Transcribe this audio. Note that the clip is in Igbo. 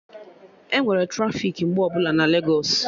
Enwere trafiki mgbe ọbụla na Legos